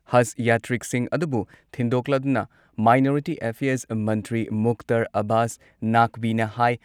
ꯍꯖ ꯌꯥꯇ꯭ꯔꯤꯛꯁꯤꯡ ꯑꯗꯨꯕꯨ ꯊꯤꯟꯗꯣꯛꯂꯗꯨꯅ ꯃꯥꯏꯅꯣꯔꯤꯇꯤ ꯑꯦꯐꯤꯌꯔꯁ ꯃꯟꯇ꯭ꯔꯤ ꯃꯨꯛꯇꯔ ꯑꯕꯥꯁ ꯅꯥꯒꯕꯤꯅ ꯍꯥꯏ